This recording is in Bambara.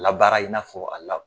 Labaara i n'a fɔ a la